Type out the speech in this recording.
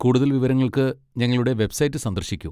കൂടുതൽ വിവരങ്ങൾക്ക് ഞങ്ങളുടെ വെബ്സൈറ്റ് സന്ദർശിക്കൂ.